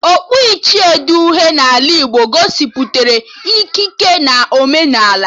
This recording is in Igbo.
Okpu ichie dị uhie n'ala Igbo gosipụtara ikike na omenala